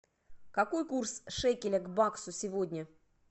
какой курс шекеля к баксу сегодня